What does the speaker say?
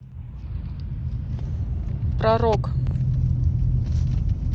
про рок